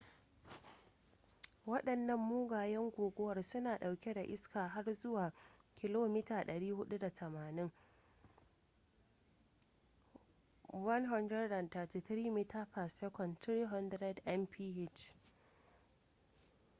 wadannan mugayen guguwar suna ɗauke da iska har zuwa 480 km/h 133 m/s; 300 mph